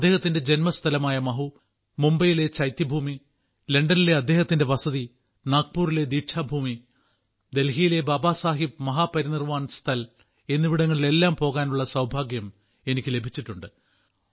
അദ്ദേഹത്തിന്റെ ജന്മസ്ഥലമായ മഹു മുംബൈയിലെ ചൈത്യഭൂമി ലണ്ടനിലെ അദ്ദേഹത്തിന്റെ വസതി നാഗ്പുരിലെ ദീക്ഷാ ഭൂമി ഡൽഹിയിലെ ബാബാ സാഹേബ് മഹാ പരിനിർവാൺ സ്ഥൽ എന്നിവിടങ്ങളിലെല്ലാം പോകാനുള്ള സൌഭാഗ്യം എനിക്ക് ലഭിച്ചിട്ടുണ്ട്